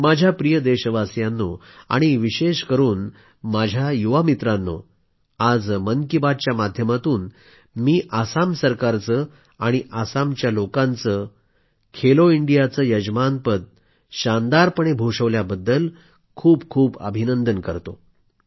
माझ्या प्रिय देशवासियांनो आणि विशेष करून माझ्या युवा मित्रांनो आज मन की बातच्या माध्यमातून मी आसामच्या सरकारचे आणि आसामच्या लोकांचे खेलो इंडियाचे यजमानपद शानदारपणे भूषवल्याबद्दल खूपखूप अभिनंदन करतो